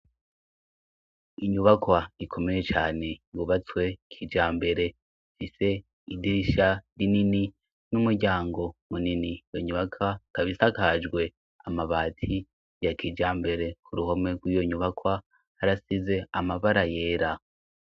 inyubakwa ikomeye cane bubatswe kijambere fise idirisha rinini n'umuryango munini iyo nyubakwa isakajwe amabati ya kijambere ku ruhome rw'iyo nyubakwa arasize amabara yera